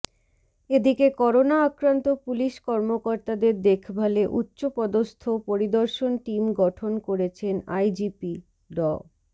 এদিকে করোনা আক্রান্ত পুলিশ কর্মকর্তাদের দেখভালে উচ্চপদস্থ পরিদর্শন টিম গঠন করেছেন আইজিপি ড